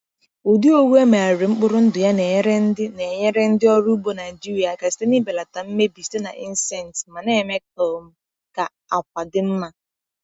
Ụdị owu e megharịrị mkpụrụ ndụ ya na-enyere ndị na-enyere ndị ọrụ ugbo Naijiria aka site n’ịbelata mmebi site na insects ma na-eme um ka àkwà dị mma.